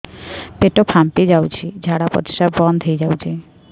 ପେଟ ଫାମ୍ପି ଯାଉଛି ଝାଡା ପରିଶ୍ରା ବନ୍ଦ ହେଇ ଯାଉଛି